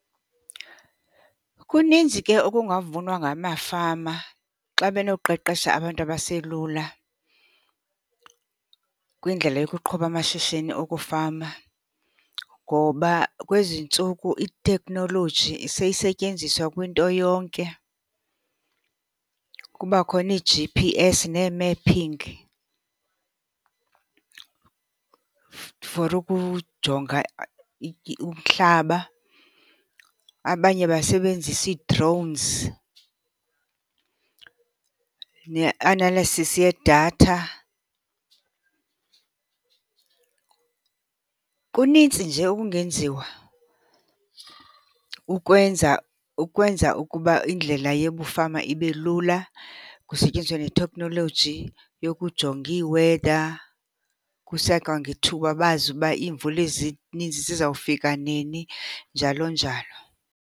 Kuninzi ke okungavunwa ngamafama xa benoqeqesha abantu abaselula kwindlela yokuqhuba amashishini okufama. Ngoba kwezi ntsuku iteknoloji seyisetyenziswa kwinto yonke. Kuba khona iiG_P_S nee-mapping for ukujonga umhlaba, abanye basebenzisa ii-drones ne-analysis yedatha. Kunintsi nje okungenziwa ukwenza, ukwenza ukuba indlela yebufama ibe lula. Kusetyenziswe netheknoloji yokujonga ii-weather kusekwangethuba, bazi uba iimvula ezininzi zizawufika nini, njalo njalo.